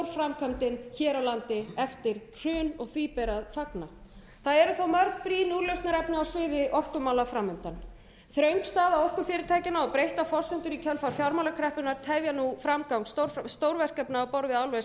hér á landi eftir hrun því ber að fagna það eru þó mörg brýn úrlausnarefni á sviði orkumála framundan þröng staða orkufyrirtækjanna og breyttar forsendur í kjölfar fjármálakreppunnar tefja nú framgang stórverkefna á borði álvers